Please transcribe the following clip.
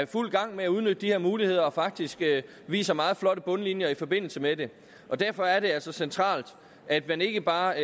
fuld gang med at udnytte de her muligheder og faktisk viser meget flotte bundlinjer i forbindelse med det derfor er det altså centralt at man ikke bare